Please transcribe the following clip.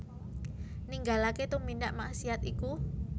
Ninggalaké tumindak maksiat iku